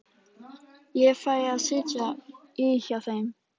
Ég fæ að sitja í hjá þeim.